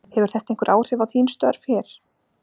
Hefur þetta einhver áhrif á þín stör hér?